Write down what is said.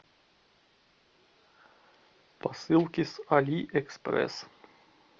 посылки с алиэкспресс